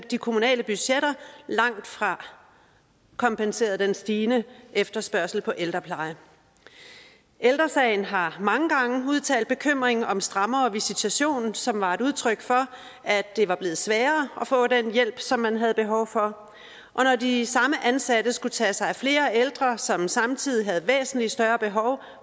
de kommunale budgetter langt fra kompenserede for den stigende efterspørgsel på ældrepleje ældre sagen har mange gange udtalt bekymring om strammere visitation som var et udtryk for at det var blevet sværere at få den hjælp som man havde behov for og når de samme ansatte skulle tage sig af flere ældre som samtidig havde væsentlig større behov